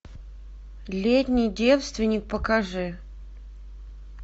летний девственник покажи